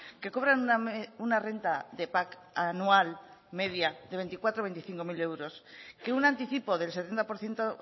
que cobran una renta de pac anual media de veinticuatrocero veinticincocero euros que un anticipo del setenta por ciento